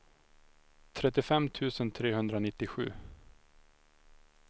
trettiofem tusen trehundranittiosju